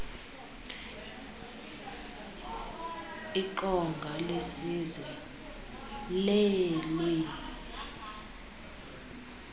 iqonga lesizwe leelwimi